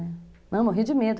Não, morri de medo.